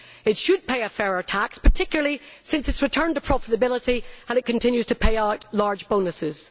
It should pay a fairer rate of tax, particularly since its return to profitability, and it continues to pay out large bonuses.